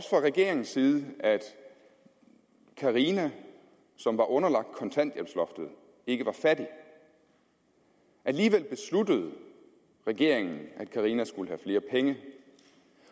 regeringens side om at carina som var underlagt kontanthjælpsloftet ikke var fattig alligevel besluttede regeringen at carina skulle have flere penge